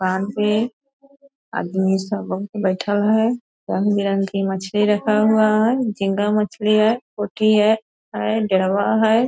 यहां पे आदमी सब बइठल है। रंग बिरंग की मछली रखा हुआ है झींगा मछली है पोथी है डेढ़वा है --